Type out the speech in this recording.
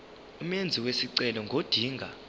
umenzi wesicelo ngodinga